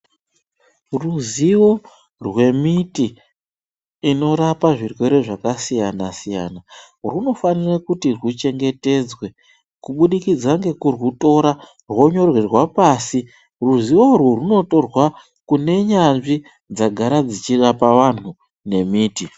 Ruzivo rwemiti inorapa zvirwere zvakasiyana siyana rwunofanira kuti rwuchengetedzwe kubudikidza nekurwutora hwonyorwa pasi .Ruzivo urwu rwunotorwa kunyanzvi dzakara dzichirapa antu ngemiti .